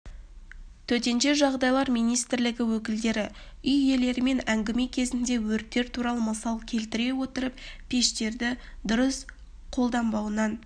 төтенше жағдайлар министрлігі өкілдері үй иелерімен әңгіме кезінде өрттер туралы мысал келтіре отырып пештерді дұрыс қалданбауынан